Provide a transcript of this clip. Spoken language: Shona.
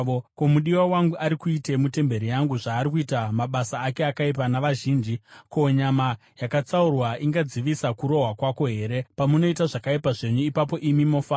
“Ko, mudiwa wangu ari kuitei mutemberi yangu, zvaari kuita mabasa ake akaipa navazhinji? Ko, nyama yakatsaurwa ingadzivisa kurohwa kwako here? Pamunoita zvakaipa zvenyu, ipapo imi mofara.”